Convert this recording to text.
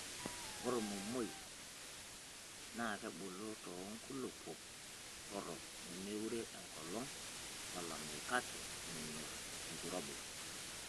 Ore ormomoi nakebul too nkulupuok torok nemeure enkolong' olameyu kake menyor enkirobi.